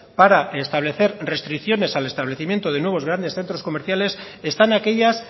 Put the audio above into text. para establecer restricciones al establecimiento de nuevos grandes centros comerciales están aquellas